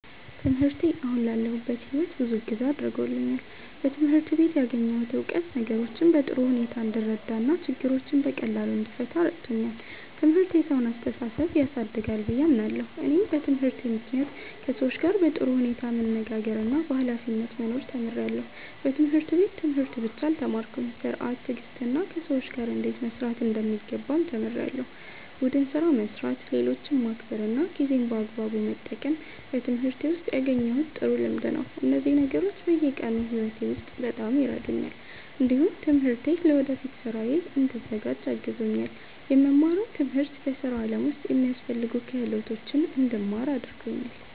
ትምህርቴ አሁን ላለሁበት ሕይወት ብዙ እገዛ አድርጎልኛል። በትምህርት ቤት ያገኘሁት እውቀት ነገሮችን በጥሩ ሁኔታ እንድረዳ እና ችግሮችን በቀላሉ እንድፈታ ረድቶኛል። ትምህርት የሰውን አስተሳሰብ ያሳድጋል ብዬ አምናለሁ። እኔም በትምህርቴ ምክንያት ከሰዎች ጋር በጥሩ ሁኔታ መነጋገርና በኃላፊነት መኖር ተምሬያለሁ። በትምህርት ቤት ትምህርት ብቻ አልተማርኩም፤ ሥርዓት፣ ትዕግስትና ከሰዎች ጋር እንዴት መስራት እንደሚገባም ተምሬያለሁ። ቡድን ስራ መስራት፣ ሌሎችን ማክበር እና ጊዜን በአግባቡ መጠቀም በትምህርቴ ውስጥ ያገኘሁት ጥሩ ልምድ ነው። እነዚህ ነገሮች በየቀኑ ሕይወቴ ውስጥ በጣም ይረዱኛል። እንዲሁም ትምህርቴ ለወደፊት ሥራዬ እንድዘጋጅ አግዞኛል። የምማረው ትምህርት በሥራ ዓለም ውስጥ የሚያስፈልጉ ክህሎቶችን እንድማር አድርጎኛል።